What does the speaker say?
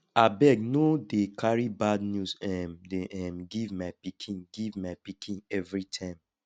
abeg no dey carry bad news um dey um give my pikin give my pikin everytime